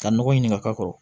Ka nɔgɔ ɲini ka k'a kɔrɔ